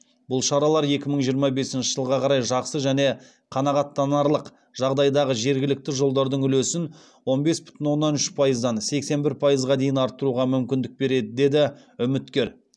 бұл шаралар екі мың жиырма бесінші жылға қарай жақсы және қанағаттанарлық жағдайдағы жергілікті жолдардың үлесін он бес бүтін оннан үш пайыздан сексен бір пайызға дейін арттыруға мүмкіндік береді деді үміткер